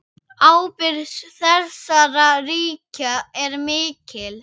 Ábyrgð þessara ríkja er mikil.